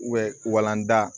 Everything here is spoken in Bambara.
walanda